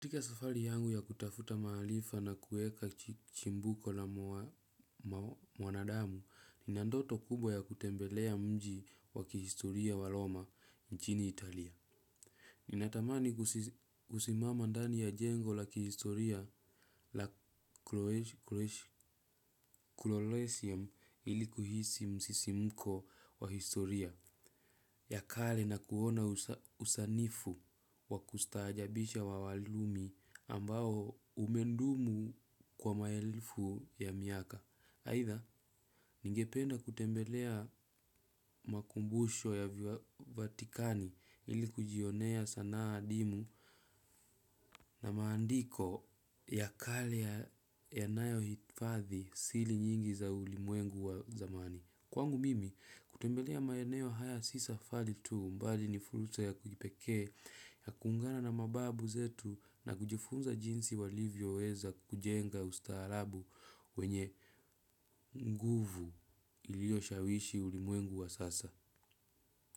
Kutika safari yangu ya kutafuta maarifa na kuweka chimbuko na mwanadamu, nina ndoto kubwa ya kutembelea mji wa kihistoria wa roma nchini Italia. Ninatamani kusimama ndani ya jengo la kihistoria la Krolesium ili kuhisi msisimko wa historia ya kare na kuona usanifu wa kustahajabisha wa walumi ambao umedumu kwa maelfu ya miaka. Aaidha, nigependa kutembelea makumbusho ya vatikani ili kujionea sanaa adimu na maandiko ya kare yanayohifadhi siri nyingi za ulimwengu wa zamani. Kwangu mimi, kutembelea maeneo haya si safari tu bali ni fursa ya kipekee ya kuungana na mababu zetu na kujifunza jinsi walivyoweza kujenga ustaarabu wenye nguvu iliyoshawishi ulimwengu wa sasa.